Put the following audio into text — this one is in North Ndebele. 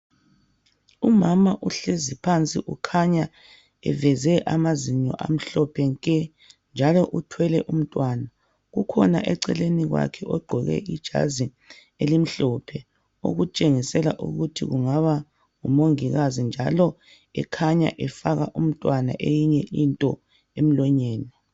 umama uhlezi phansi ukhanya eveze amazinyo amhlophe nke njalo uthwele umntwana ukhona eceleni kwakhe ogqoke ijazi elimhlophe okutshengisela ukuthi kungaba ngu mongikazi njalo ekhanya efaka umntwana eyinye into emlonyeni